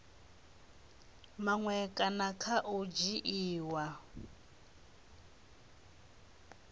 maṅwe kana kha u dzhiiwa